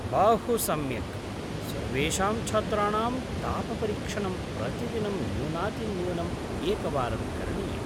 बहुसम्यक्! सर्वेषां छात्राणां तापपरीक्षणं प्रतिदिनं न्यूनातिन्यूनम् एकवारं करणीयम्।